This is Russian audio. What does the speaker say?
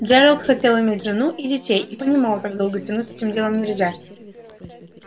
джералд хотел иметь жену и детей и понимал как долго тянуть с этим делом нельзя